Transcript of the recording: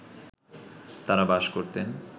তাঁরা বাস করতেন